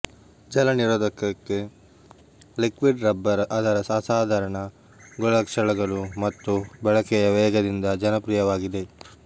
ಜಲನಿರೋಧಕಕ್ಕೆ liquid rubber ಅದರ ಅಸಾಧಾರಣ ಗುಣಲಕ್ಷಣಗಳು ಮತ್ತು ಬಳಕೆಯ ವೇಗದಿಂದ ಜನಪ್ರಿಯವಾಗಿದೆ